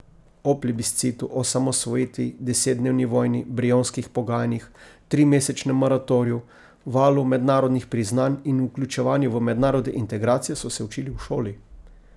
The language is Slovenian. O plebiscitu, osamosvojitvi, desetdnevni vojni, brionskih pogajanjih, trimesečnem moratoriju, valu mednarodnih priznanj in vključevanju v mednarodne integracije so se učili v šoli.